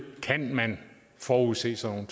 kan man forudse sådan